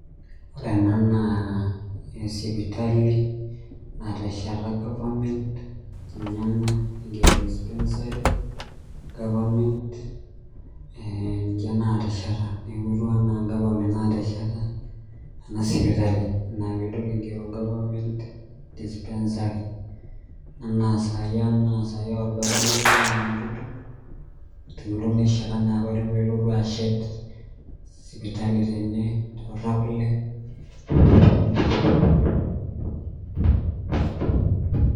Wore ena naa sipitali natesheta government, ninye ena naigiero dispensary government, eeh ninche lootesheta neeku ketiu enaa government naatesheta ena sipitali, neeku inia piidol igiero government dispensary enaa saai orgavanai lang ole Ntutu, tenelo neshet enaa apailong pee elotu ashet sipitali tene teortakule neeku